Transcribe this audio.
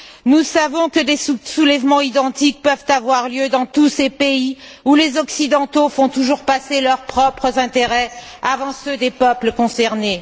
Nous savons que des soulèvements identiques peuvent avoir lieu dans tous ces pays où les Occidentaux font toujours passer leurs propres intérêts avant ceux des peuples concernés.